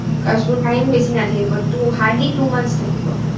Time বেছি নাথাকিব two hardly two months থাকিব